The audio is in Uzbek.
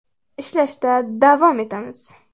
Ishlashda davom etamiz.